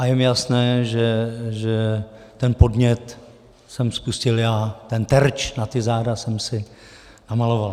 A je mi jasné, že ten podnět jsem spustil já, ten terč na ta záda jsem si namaloval.